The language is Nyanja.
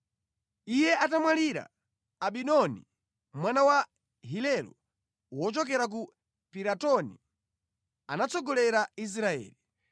Iye atamwalira, Abidoni mwana wa Hilelo wochokera ku Piratoni, anatsogolera Israeli.